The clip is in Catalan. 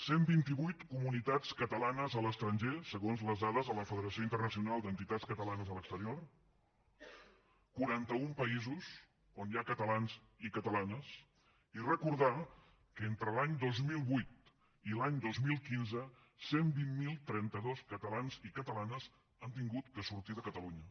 cent vint i vuit comunitats catalanes a l’estranger segons les dades de la federació internacional d’entitats catalanes a l’exterior quaranta un països on hi ha catalans i catalanes i recordar que entre l’any dos mil vuit i l’any dos mil quinze cent i vint mil trenta dos catalans i catalanes han hagut de sortir de catalunya